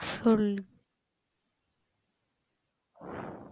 சொல்லு